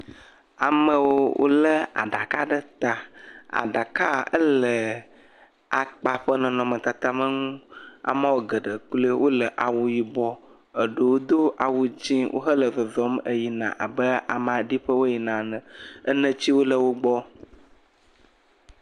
Amewo wolé aɖaka ɖe ta. Aɖakaa, ele akpa ƒe nɔnɔmetatame nu. Ameawo geɖe kloe wole ayibɔ, eɖewo do awu dzẽ wo hele zɔzɔm abe amea ɖi ƒe wo yina ene. Enetsiwo le wogbɔ.